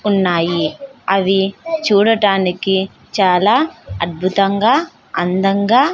ఉన్నాయి అవి చూడటానికి చాలా అద్భుతంగా అందంగా --